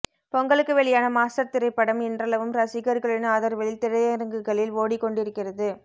பொங்கலுக்கு வெளியான மாஸ்டர் திரைப்படம் இன்றளவும் ரசிகர்களின் ஆதரவில் திரையரங்குகளில் ஓடி கொண்டிருக்கிறது